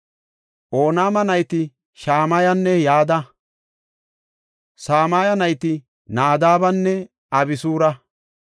Onaama nayti Shamayanne Yada. Samaye nayti Naadabenne Abisura.